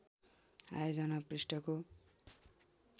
आयोजना पृष्ठको